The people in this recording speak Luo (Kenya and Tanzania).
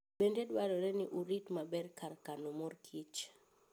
Bende dwarore ni orit maber kar kano mor kich.